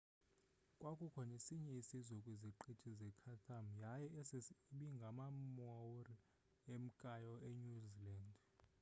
kwakukho nesinye isizwe kwiziqithi zechatham yaye esi ibingamamaori emkayo enew zealand